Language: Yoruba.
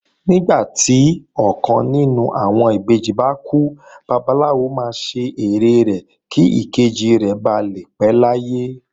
Nígbà tí ọkàn nínú àwọn ìbejì bá kú, Babaláwo máa ṣe ère rẹ̀ kí ìkejì rẹ̀ ba lè pé láyé